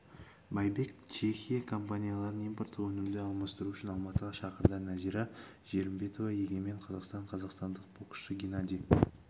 байбек чехия компанияларын импорттық өнімді алмастыру үшін алматыға шақырды нәзира жәрімбетова егемен қазақстан қазақстандық боксшы генадий